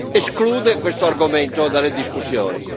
esclude questo argomento dalle discussioni.